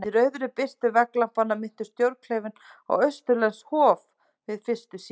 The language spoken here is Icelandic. Í rauðri birtu vegglampanna minnti stjórnklefinn á austurlenskt hof- við fyrstu sýn.